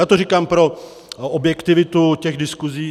Já to říkám pro objektivitu těch diskuzí.